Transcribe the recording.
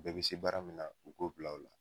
Bɛɛ bi se baara min na u b'o bila o la